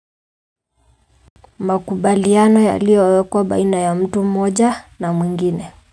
Makubaliano yaliyo wekwa baina ya mtu moja na mwingine.